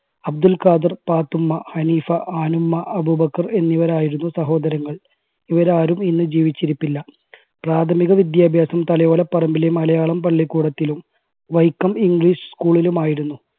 അബ്ദുൽ ഖാദർ, പാത്തുമ്മ, ഹനീഫ, ആനുമ്മ, അബൂബക്കർ എന്നിവരായിരുന്നു സഹോദരങ്ങൾ. ഇവരാരും ഇന്ന് ജീവിച്ചിരിപ്പില്ല പ്രാഥമിക വിദ്യാഭ്യാസം തലയോലപ്പറമ്പിലെ മലയാളം പള്ളിക്കൂടത്തിലും വൈക്കം english school ലും ആയിരുന്നു.